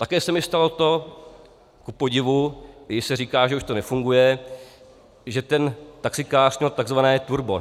Také se mi stalo to, kupodivu, i když se říká, že už to nefunguje, že ten taxikář měl tzv. turbo.